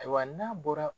Ayiwa n'a bɔra